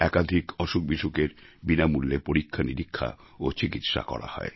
একাধিক অসুখবিসুখের বিনামূল্যে পরীক্ষানিরীক্ষা ও চিকিৎসা করা হয়